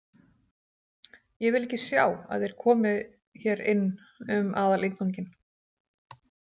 Ég vil ekki sjá að þeir komi hér inn um aðalinnganginn